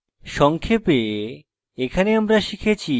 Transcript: সংক্ষেপে